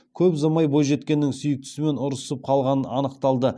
көп ұзамай бойжеткеннің сүйіктісімен ұрысып қалғаны анықталды